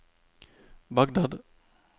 Bagdad